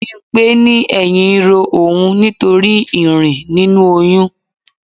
Bimpe ní ẹyin ń ro òun nítorí irin nínú oyún.